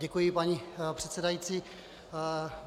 Děkuji, paní předsedající.